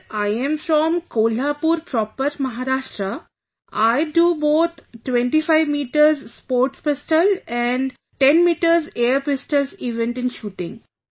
Sir I am from Kolhapur proper, Maharashtra, I do both 25 metres sports pistol and 10 metres air pistol events in shooting